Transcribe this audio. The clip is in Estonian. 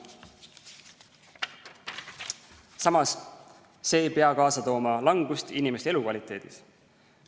Samas, see ei pea kaasa tooma langust inimeste elukvaliteedis.